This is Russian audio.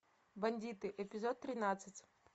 бандиты эпизод тринадцать